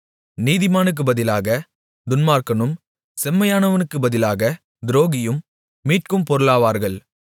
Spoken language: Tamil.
நீதிமானுக்கு பதிலாக துன்மார்க்கனும் செம்மையானவனுக்கு பதிலாக துரோகியும் மீட்கும் பொருளாவார்கள்